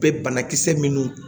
Bɛ banakisɛ minnu